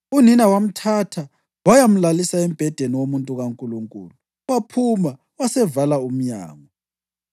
Unina wamthatha wayamlalisa embhedeni womuntu kaNkulunkulu, waphuma wasevala umnyango.